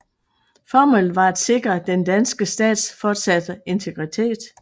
Formålet var at sikre den danske stats fortsatte integritet